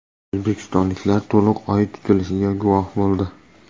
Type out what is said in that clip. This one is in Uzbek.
O‘zbekistonliklar to‘liq Oy tutilishiga guvoh bo‘ldi .